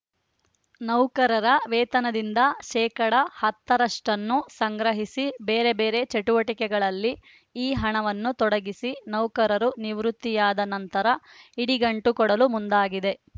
ನೌಕರರ ವೇತನದಿಂದ ಶೇಕಡಾ ಹತ್ತ ರಷ್ಟನ್ನು ಸಂಗ್ರಹಿಸಿ ಬೇರೆಬೇರೆ ಚಟುವಟಿಕೆಗಳಲ್ಲಿ ಈ ಹಣವನ್ನು ತೊಡಗಿಸಿ ನೌಕರರು ನಿವೃತ್ತಿಯಾದ ನಂತರ ಇಡಿಗಂಟು ಕೊಡಲು ಮುಂದಾಗಿದೆ